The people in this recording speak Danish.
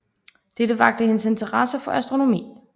Dette vakte hendes interesse for astronomi